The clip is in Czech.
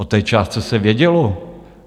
O té částce se vědělo.